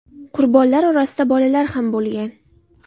Qurbonlar orasida bolalar ham bo‘lgan.